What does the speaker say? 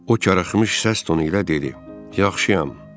O xırılmış səs tonu ilə dedi: Yaxşıyam.